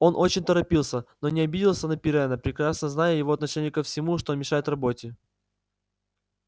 он очень торопился но не обиделся на пиренна прекрасно зная его отношение ко всему что мешает работе